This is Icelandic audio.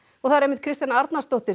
Kristjana Arnarsdóttir